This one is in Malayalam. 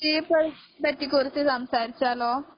ചീഫ് എൽസിനെ പറ്റി കുറിച്ച് സംസാരിച്ചാലോ